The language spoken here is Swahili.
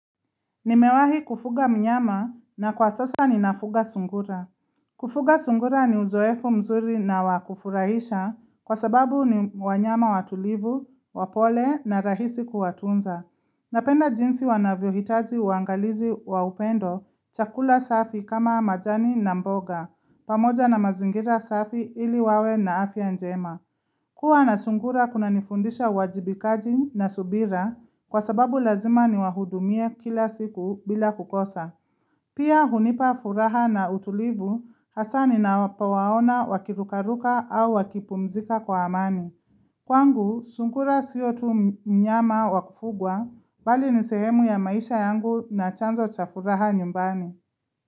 Nimewahi kufuga mnyama na kwa sasa ninafuga sungura. Kufuga sungura ni uzoefu mzuri na wa kufurahisha kwa sababu ni wanyama watulivu, wapole na rahisi kuwatunza. Napenda jinsi wanavyo hitaji uangalizi wa upendo chakula safi kama majani na mboga, pamoja na mazingira safi ili wawe na afya njema. Kuwa na sungura kuna nifundisha uwajibikaji na subira kwa sababu lazima ni wahudumie kila siku bila kukosa. Pia hunipa furaha na utulivu hasa ninapo waona wakirukaruka au wakipumzika kwa amani. Kwangu, sungura siyo tu mnyama wa kufugwa, bali ni sehemu ya maisha yangu na chanzo cha furaha nyumbani.